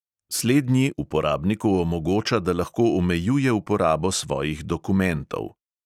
Slednji uporabniku omogoča, da lahko omejuje uporabo svojih dokumentov.